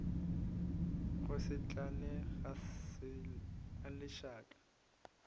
go se tlale ga lešaka